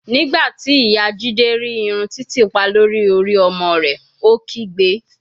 Nigbati iya jide ri irun titipa lori ori ọmọ rẹ, o kigbe